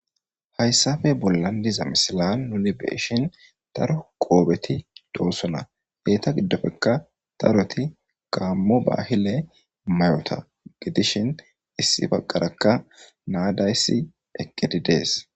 hayssafe bollan diza misila nuli beshin daro qoobeti doossona geeta giddofekka daroti gaammo bahile mayota gidishin issi baqarakka naadayssi eqqedi dees